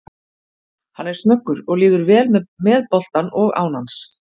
Hann er snöggur og líður vel með boltann og án hans.